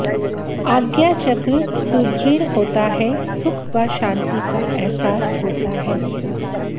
आज्ञाचक्र सुदृढ़ होता है सुख व शांति का एहसास होता है